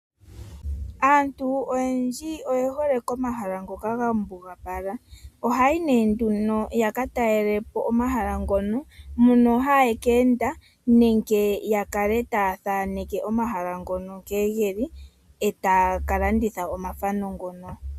Aantu oyendji oye hole komahala ngoka ga mbugapala. Ohaa yi nduno ya ka talele po omahala ngono, mono haya keenda nenge ya kale taa thaneke omahala ngono nkene ge li, e taa ka landitha omathano ngoka.